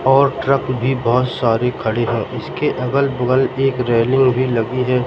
और ट्रक भी बहोत सारे खड़ी है इसके अगल बगल एक रेलिंग भी लगी है।